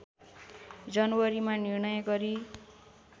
जनवरीमा निर्णय गरी